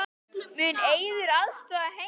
Mun Eiður aðstoða Heimi?